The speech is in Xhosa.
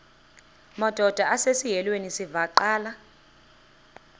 madod asesihialweni sivaqal